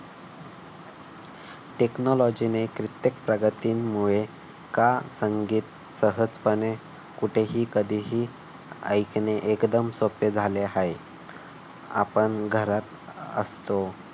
technology ने कित्येक प्रगतीमुळे का संगीत सहजपणे कुठेही कधीही ऐकणे एकदम सोपे झाले आहे. आपण घरात असतो.